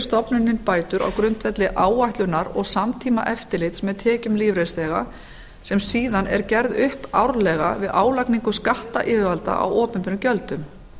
stofnunin bætur á grundvelli áætlunar og samtímaeftirlits með tekjum lífeyrisþega sem síðan er gerð upp árlega við álagningu skattyfirvalda á opinberum gjöldum